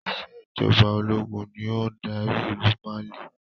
Ìsèjọba ológun ni ó ń dárí ìlú Mali